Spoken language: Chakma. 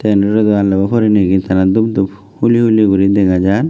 tay indi ole do alnabo purinegi tara doob doob huli huli guri dega jar.